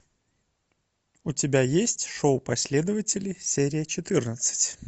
у тебя есть шоу последователи серия четырнадцать